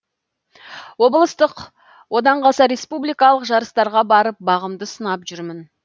облыстық одан қалса республикалық жарыстарға барып бағымды сынап жүрмін